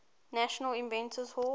national inventors hall